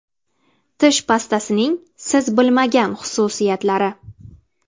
Tish pastasining siz bilmagan xususiyatlari.